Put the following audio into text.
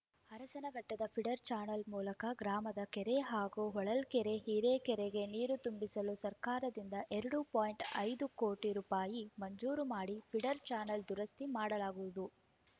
ಅರಸನಘಟ್ಟದ feeder channel ಮೂಲಕ ಗ್ರಾಮದ ಕೆರೆ ಹಾಗೂ ಹೊಳಲ್ಕೆರೆ ಹೀರೆಕೆರೆಗೆ ನೀರು ತುಂಬಿಸಲು ಸರ್ಕಾರದಿಂದ ಎರಡು ಪಾಯಿಂಟ್ ಐದು ಕೋಟಿ ರೂಪಾಯಿ ಮಂಜೂರು ಮಾಡಿ ಫೀಡರ್‌ ಚಾನಲ್‌ ದುರಸ್ತಿ ಮಾಡಲಾಗುವುದು